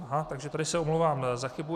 Aha, takže tady se omlouvám za chybu.